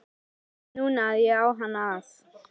Ég veit núna að ég á hann að.